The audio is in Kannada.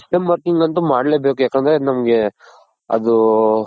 system working ಅಂತು ಮಾಡ್ಲೇಬೇಕು ಯಾಕಂದ್ರೆ ಅದ್ ನಮ್ಗೆ ಅದು .